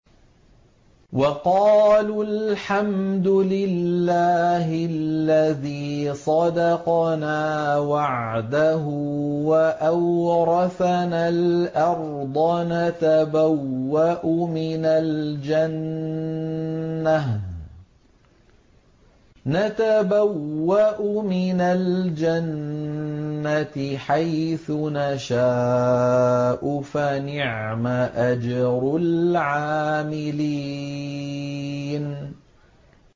وَقَالُوا الْحَمْدُ لِلَّهِ الَّذِي صَدَقَنَا وَعْدَهُ وَأَوْرَثَنَا الْأَرْضَ نَتَبَوَّأُ مِنَ الْجَنَّةِ حَيْثُ نَشَاءُ ۖ فَنِعْمَ أَجْرُ الْعَامِلِينَ